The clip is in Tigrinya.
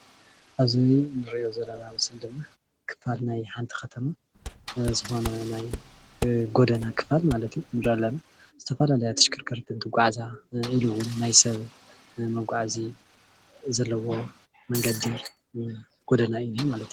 ኣብዚ እንሪኦ ዘላና ምስሊ ድማ ክፋል ናይ ሓንቲ ከተማ ዝኮነ ናይ ጎደና ክፋል ማለት እዩ፡፡ ዝተፈላለያ ተሽከርከርቲ እንትጓዓዛ ኢሉ እውን ናይ ሰብ መጓዓዚ ዘለዎ መንገዲ ጎደና እዩ ዝነሄ ማለት እዩ፡፡